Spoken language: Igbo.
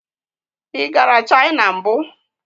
Ị gara China mbụ?